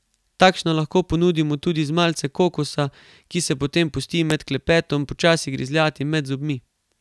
Takšno lahko ponudimo tudi z malce kokosa, ki se potem pusti med klepetom počasi grizljati med zobmi.